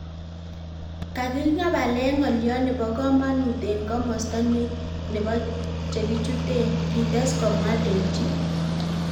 "Kaging'abalen ng'olyot nebo komonut en komosto nebo che kichutunen," Kites komwa Dewji.